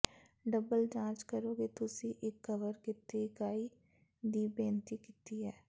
double ਜਾਂਚ ਕਰੋ ਕਿ ਤੁਸੀਂ ਇੱਕ ਕਵਰ ਕੀਤੇ ਇਕਾਈ ਦੀ ਬੇਨਤੀ ਕੀਤੀ ਹੈ